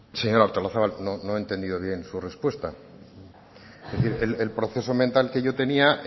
señora artolazabal no he entendido bien su respuesta el proceso mental que yo tenía